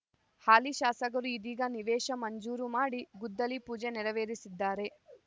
ಹಾಲಿ ಶಾಸಕರು ಇದೀಗ ನಿವೇಶ ಮಂಜೂರು ಮಾಡಿ ಗುದ್ದಲಿ ಪೂಜೆ ನೆರವೇರಿಸಿದ್ದಾರೆ